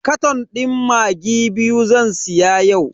Katon din maggi biyu zan siya yau.